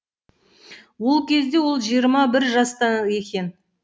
ол кезде ол жиырма бір жаста екен